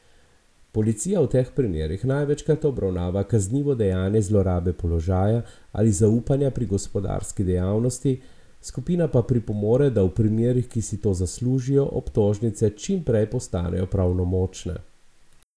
Policija v teh primerih največkrat obravnava kaznivo dejanje zloraba položaja ali zaupanja pri gospodarski dejavnosti, skupina pa pripomore, da v primerih, ki si to zaslužijo, obtožnice čimprej postanejo pravnomočne.